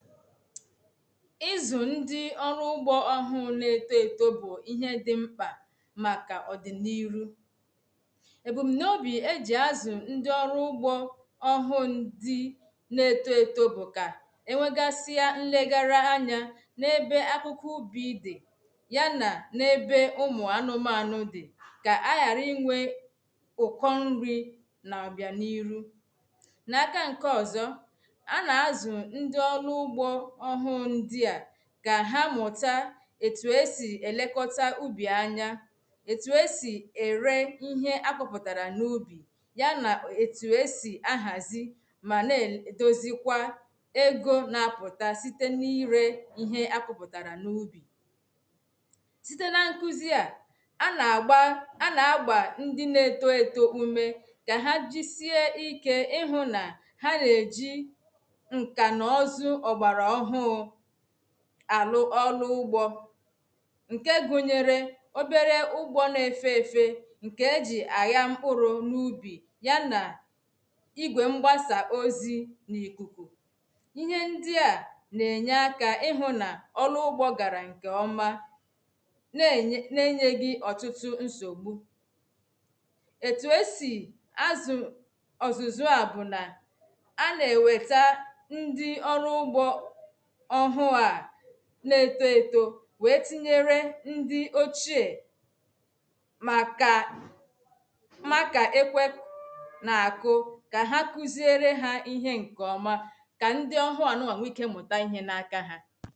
ɪ̣̀zụ̀ ṅdi ọ̀lụ̀ ụ̀gbo ọ̀hụ̀ n’ētoto bụ ihé di mkpa màkà ọ̀dinirú. Ebumunobi eji azụ ndi ọ̀lụ̀ ụ̀gbo ọhụ ṅdi n’ētoto bụ ka eṅwegasia ṅlegara aṅya n’ebe ákụ̀kụ̀ ụbi di ya na ebē ụmụ anụ̀manụ̀ di. ka àghara ìṅwe ụ̀kọ̀ ṅ̀ri na ọ̀bianirù Na-aka ṅ̀kē ọzọ̀, a na-azụ ṅ̀di ọlụ ụ̀gbo ọ̀hụ ṅ̀di a Ka há mụ̀ta etu esi elekọta ụ̀bi anya. etu esi ere ihe akọpụtara n’ubi ya na etu esi ahazì mana edozikwa ego na-apụta site na-iree ihe akọpụtara n’ubi site na ṅkụzia a na-agba, a na-agbà ṅdi na-etoto ụme ka ha jisia ike ịhụ na ha na-ejị ṅkanọzụ ọgbará ọhụụ alụ̀ụ̀ ọ̀lụ̀ ụ̀gbo ṅ̀kē gụnyere òberē ụ̀gbọ na-efē efē ṅke eji àghá mkpụrụ n’ubi ya na ị̀gwé mgbásá ozị ni ɪ̣̀hē ndi a na-enye áka ihụ na ọlụ ụgbo gárá ṅkē ọ̀ma nenye, nēnyègi ọtụtụ ṅsọgbu etu esi azụ ọ̀zụ̀zụ̀ a bụ na ánà ēwēta ndi ọlụ ụgbọ ọhụ a na-etoto wéé tinyēré ndi ochéé màkà máá kà ékwē na-akụ ka ha kụzie re ha ihē ṅkē ọ̀ma. Ka ṅdị ọhụ a nụṅwa ṅwee ịke mụta ihe n’aka ha